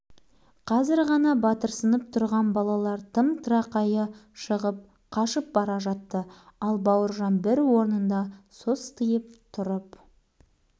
тіптен мырс етіп күліп жіберді ой қорқақтар барлық бала бір-бірінен ұялып көздерімен жер шұқып түр ой-ба-ай